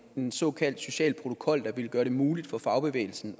en såkaldt social protokol der ville gøre det muligt for fagbevægelsen